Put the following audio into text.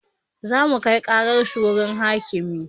Zamu kai ƙarar su wurin hakimi